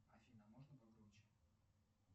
афина можно погромче